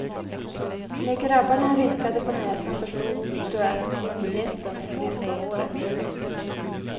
När grabbarna rynkade på näsan förstod du att kvinnligheten hänger på håret.